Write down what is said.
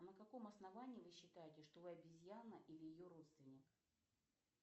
на каком основании вы считаете что вы обезьяна или ее родственник